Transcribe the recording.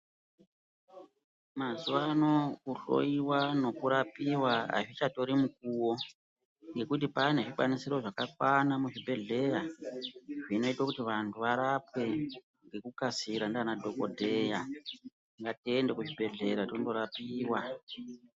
Mazuva ano kuhloiwa nokurapiva hazvichatori mukuvo. Ngekuti pane zvikwanisiro zvakakwana muzvibhedhlera zvinote kuti vantu varapwe ngekukasira ndiana dhogodheya. Ngatiende kuzvibhedhleya tondorapiva.